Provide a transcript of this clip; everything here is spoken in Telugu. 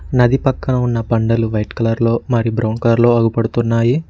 నది పక్కన ఉన్న పంటలు వైట్ కలర్లో మరి బ్రౌన్ కలర్ లో అగుపడుతున్నాయి.